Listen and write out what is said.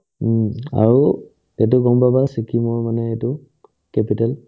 উম্, আৰু এইটো গম পাবা ছিকিমৰ মানে এইটো capital